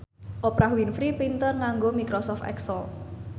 Oprah Winfrey pinter nganggo microsoft excel